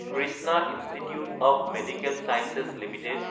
Krishna institute of medical science Ltd